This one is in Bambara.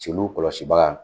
Celuw kɔlɔsibaga